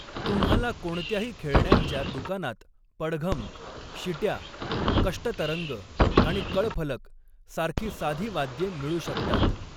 तुम्हाला कोणत्याही खेळण्यांच्या दुकानात पडघम, शिट्या, कष्टतरंग आणि कळफलक सारखी साधी वाद्ये मिळू शकतात.